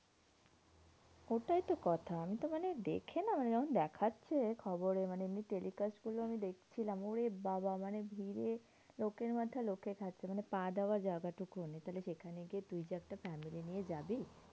ওটাই তো কথা। আমি তো মানে দেখে না মানে যখন দেখাচ্ছে খবরে মানে এমনি telecast গুলো আমি দেখছিলাম, ওরেবাবা মানে ভিড়ে লোকের মাথা লোকে ঠেকছে মানে পা দেওয়ার জায়গা টুকুও নেই। তাহলে সেখানে গিয়ে তুই যে একটা family নিয়ে যাবি